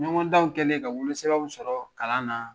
Ɲɔgɔndanw kɛlen ka wolo sɛbɛnw sɔrɔ kalan na